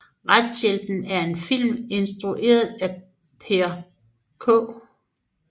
Retshjælpen er en film instrueret af Per K